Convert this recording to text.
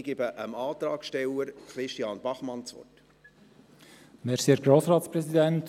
Ich gebe dem Antragsteller, Christian Bachmann, das Wort.